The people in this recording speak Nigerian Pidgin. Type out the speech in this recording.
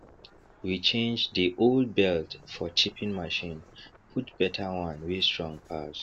we change dey old belt for chipping machine put better one wey strong pass